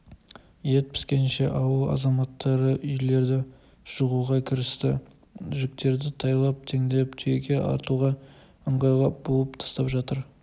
ет піскенше ауыл азаматтары үйлерді жығуға кірісті жүктерді тайлап теңдеп түйеге артуға ыңғайлап буып тастап жатыр